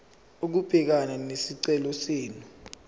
ukubhekana nesicelo senu